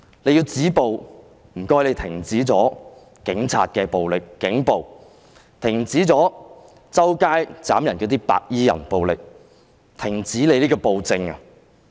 要止暴，請停止警員的暴力，停止四處斬人的"白衣人"暴力，停止暴政。